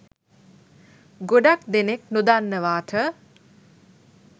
ගොඩක් දෙනෙක් නොදන්නවාට